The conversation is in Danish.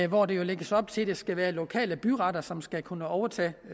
hvor der lægges op til at det skal være lokale byretter som skal kunne overtage